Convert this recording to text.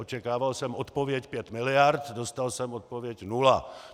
Očekával jsem odpověď pět miliard, dostal jsem odpověď nula.